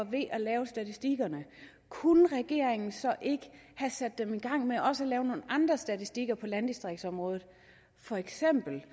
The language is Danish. ved at lave statistikkerne kunne regeringen så ikke have sat dem i gang med også at lave nogle andre statistikker på landdistriktsområdet feks